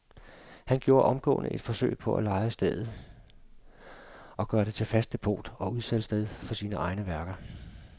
Han gjorde omgående et forsøg på at leje stedet og gøre det til fast depot og udsalgssted for sine egne værker.